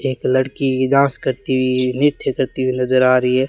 एक लड़की डांस करती हुई नृत्य करती हुई नजर आ रही है।